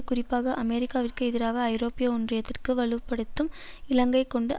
குறிப்பாக அமெரிக்காவிற்கு எதிராக ஐரோப்பிய ஒன்றியத்திற்கு வலு படுத்தும் இலக்கை கொண்டு